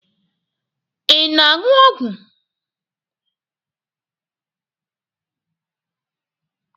Ị na-aṅụ ọgwụ.